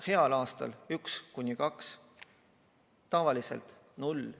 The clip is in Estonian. Heal aastal üks kuni kaks, tavaliselt null.